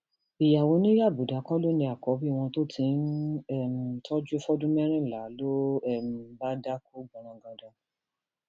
ìyàwó ni yabuda kọ ló ní àkọbí wọn tó ti ń um tọjú fọdún mẹrìnlá ló um bá dákú gbọnrangandan